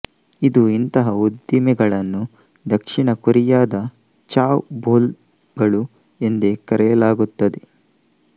ಇಂದು ಇಂತಹ ಉದ್ದಿಮೆಗಳನ್ನು ದಕ್ಷಿಣ ಕೊರಿಯಾದ ಚಾವ್ ಬೊಲ್ ಗಳು ಎಂದೇ ಕರೆಯಲಾಗುತ್ತದೆ